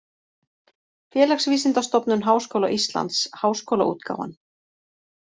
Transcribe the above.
Félagsvísindastofnun Háskóla Íslands: Háskólaútgáfan.